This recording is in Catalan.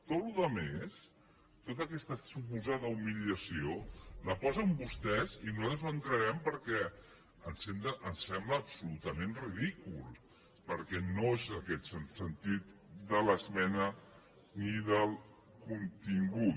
tota la resta tota aquesta suposada humiliació la posen vostès i nosaltres no hi entrarem perquè ens sembla absolutament ridícul perquè no és aquest el sentit de l’esmena ni del contingut